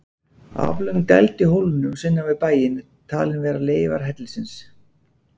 Aflöng dæld í hólnum sunnan við bæinn er talin vera leifar hellisins.